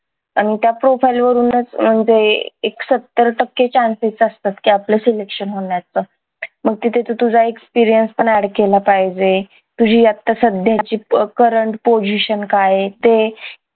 आणि त्या profile वरूनच एक सत्तर टक्के chances असतात की आपलं selection होण्याचं मग तिथे तू तुझा experience पण add केला पाहिजे तुझी आता सध्याची current position काय ये ते